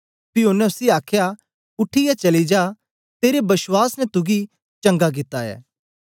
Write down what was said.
पी ओनें उसी आखया उठीयै चली जा तेरे बश्वास ने तुगी चंगा कित्ता ऐ